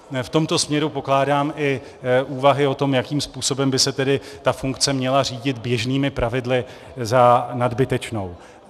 V tomto směru pokládám i úvahy o tom, jakým způsobem by se tedy ta funkce měla řídit běžnými pravidly, za nadbytečnou.